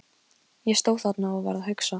Ég stóð þarna og var að hugsa.